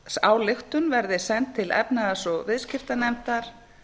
þingsályktun verði send til efnahags og viðskiptanefndar